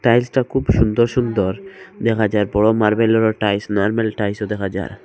Tile সটা খুব সুন্দর সুন্দর দেখা যায় পুরো মার্বেলের ও টাইলস নরমাল টাইলসও দেখা যায়।